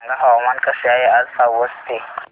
सांगा हवामान कसे आहे आज पावस चे